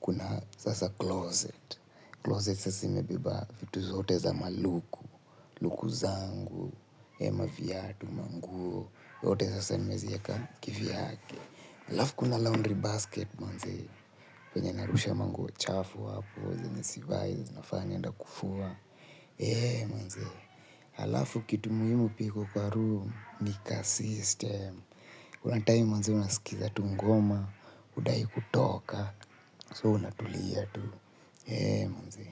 kuna sasa closet, closet sasa imebeba vitu zote za maluku, luku zangu, maviatu, manguo, yote sasa nimezieka kivyake. Halafu kuna laundry basket manze penye narusha manguo chafuapo zenye zifai nafaa niende kufua eeh manze halafu kitu muhimu pia iko kwa room ni ka system kuna timemmanze unaskiza tu ngoma hudai kutoka so unatulia tu eeh manzee.